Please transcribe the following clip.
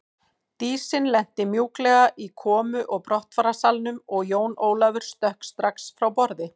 Dísin lenti mjúklega í komu og brottfararsalnum og Jón Ólafur stökk strax frá borði.